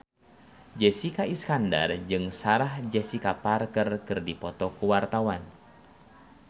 Jessica Iskandar jeung Sarah Jessica Parker keur dipoto ku wartawan